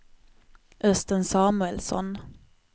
Östen Samuelsson